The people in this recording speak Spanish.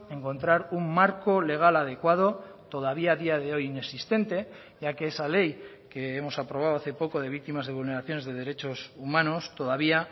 encontrar un marco legal adecuado todavía a día de hoy inexistente ya que esa ley que hemos aprobado hace poco de víctimas de vulneraciones de derechos humanos todavía